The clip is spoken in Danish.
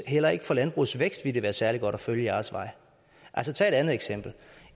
heller ikke for landbrugets vækst ville være særlig godt at følge jeres vej altså tag et andet eksempel